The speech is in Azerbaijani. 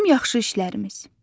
Bizim yaxşı işlərimiz.